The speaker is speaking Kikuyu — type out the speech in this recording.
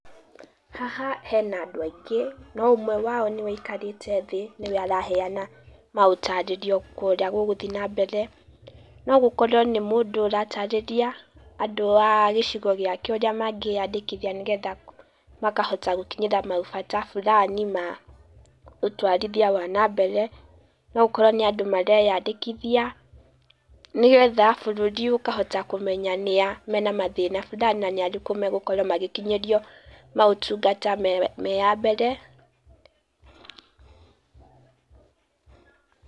Haha hena andũ aingĩ no ũmwe wao nĩwe aikarĩte thĩ, nĩwe araheana maũtarĩrio ma ũrĩa gũgũthiĩ na mbere. No gũkorwo nĩ mũndũ ũratarĩria andũ a gĩcigo gĩake ũrĩa mangĩandĩkithia nĩgetha makahota gũkinyĩra maũbata burani ma ũtwarithia wa na mbere, no ũkorwo nĩ andũ mareyandĩkithia, nĩgetha bũrũri ũkahota kũmenya nĩa mena mathĩna burani, na nĩa magũkinyĩrio maũtungata me a mbere.